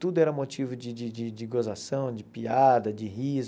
Tudo era motivo de de de de gozação, de piada, de riso.